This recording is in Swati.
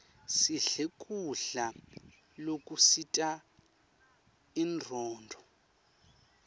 sidle kudla lokusita inronduo